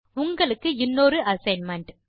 உங்களுக்கு இன்னொரு அசைன்மென்ட்